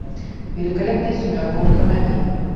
великолепная семерка установи